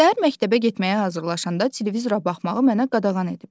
Səhər məktəbə getməyə hazırlaşanda televizora baxmağı mənə qadağan ediblər.